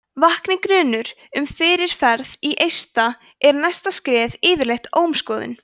vakni grunur um fyrirferð í eista er næsta skref yfirleitt ómskoðun